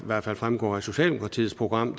hvert fald fremgår af socialdemokratiets program